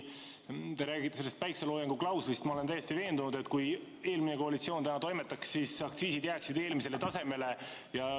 Te räägite sellest päikseloojangu klauslist – ma olen täiesti veendunud, et kui eelmine koalitsioon täna toimetaks, siis jääksid aktsiisid varasemale tasemele.